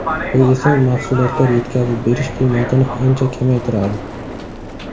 Bu esa mahsulotlar yetkazib berish qiymatini ancha kamaytiradi.